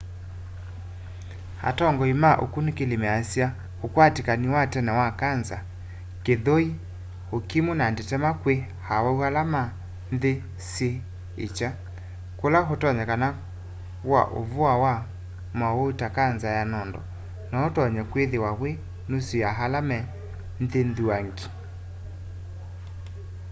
atongoi ma ũkunĩkĩli measya ũkwatĩkani wa tene wa kanza kĩthũĩ ũkimu na ndetema kwĩ awau ala me nthĩ syĩ ĩkya kũla ũtonyekano wa'ũvoa wa maũwau ta kanza ya nondo noũtonye kwĩthĩwa wĩ nusu ya ala me nthĩ nthuangi